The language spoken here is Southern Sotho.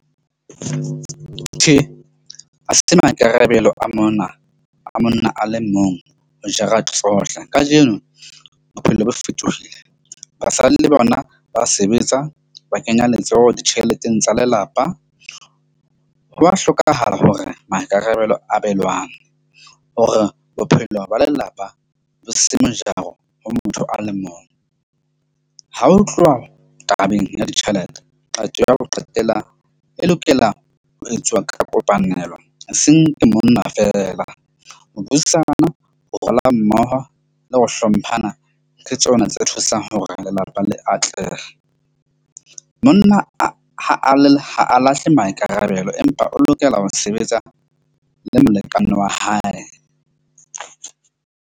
Tjhe, ha se maikarabelo a monna ale mong ho jara tsohle kajeno bophelo bo fetohile basadi le bona ba sebetsa, ba kenya letsoho ditjheleteng tsa lelapa. Hwa hlokahala hore maikarabelo abelwang hore bophelo ba lelapa bo se mojaro ho motho a le mong. Ha ho tluwa tabeng ya ditjhelete, qeto ya ho qetela e lokela ho etsuwa ka kopanelo, eseng ke monna feela. Ho thusana ho mmoho le ho hlomphana ke tsona tse thusang ho re lelapa le atlehe. Monna ha a le ha a lahle maikarabelo, empa o lokela ho sebetsa le molekane wa hae.